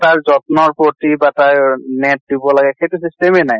তাৰ যত্নৰ প্ৰতি বা তাৰ net দিব লাগে সেইটো system য়ে নাই